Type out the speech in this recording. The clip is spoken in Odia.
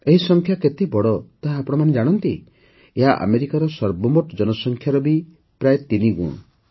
ଏହି ସଂଖ୍ୟା କେତେ ବଡ଼ ତାହା ଆପଣମାନେ ଜାଣନ୍ତି ଏହା ଆମେରିକାର ସର୍ବମୋଟ ଜନସଂଖ୍ୟାର ବି ପ୍ରାୟ ତିନିଗୁଣ